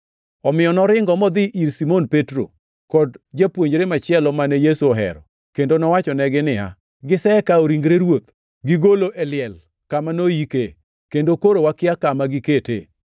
Omiyo noringo modhi ir Simon Petro kod japuonjre machielo mane Yesu ohero, kendo nowachonegi niya, “Gisekawo ringre Ruoth gigolo e liel kama noyike, kendo koro wakia kama giketee!”